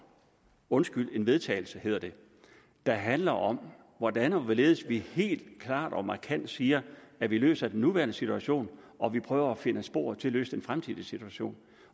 undskyld et vedtagelse hedder det der handler om hvordan og hvorledes vi helt klart og markant siger at vi løser den nuværende situation og hvordan vi prøver at finde spor til at løse den fremtidige situation